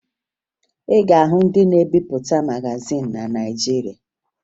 Ị ga-ahụ ndị na-ebipụta magazin na Naịjirịa